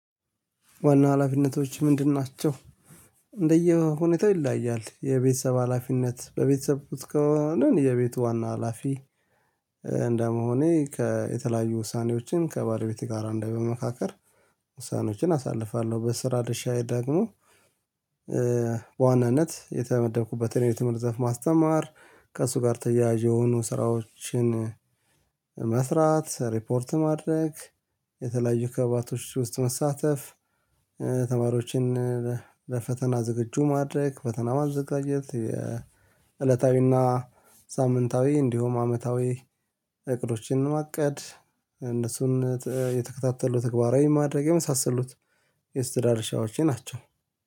ዋና ሀላፊነቶች ምንድን ናቸው? እንደየሁኔታው ይለያያል የቤተሰብ ሀላፊነት በቤተሰብ ከዋና የቤቱ ዋና ሀላፊ። እንደመሆኔ ከየተለያዩ ውሳኔዎችን ከባለቤት ጋር እንደመካከር ውሳኔዎችን አሳልፋለሁ። በስራ ድርሻዬ ደግሞ የተመደብኩበትን የትምህርት ዘፍ ማስተማር ከእሱ ጋር ተያያዥ የሆኑ ስራዎችን መስራት ሪፖርት ማድረግ። የተለያዩ ክበባቶች ውስጥ መሳተፍ። ተማሪዎችን ለፈተና ዝግጁ ማድረግ ፈተና ማዘጋጀት። የእለታዊና ሳምንታዊ እንዲሁም አመታዊ እቅዶችን ማቀድ እነሱን የተከታተሉ ተግባራዊ ማድረግ የመሳሰሉት የእስትዳር ሻዎቼ ናቸው